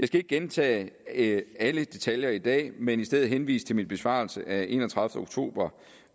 skal ikke gentage alle detaljer i dag men i stedet henvise til min besvarelse af enogtredivete oktober